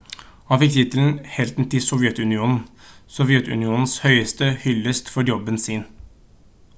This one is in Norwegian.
han fikk tittelen «helten til sovjetunionen» sovjetunionens høyeste hyllest for jobben sin